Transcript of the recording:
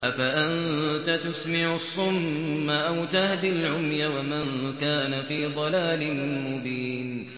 أَفَأَنتَ تُسْمِعُ الصُّمَّ أَوْ تَهْدِي الْعُمْيَ وَمَن كَانَ فِي ضَلَالٍ مُّبِينٍ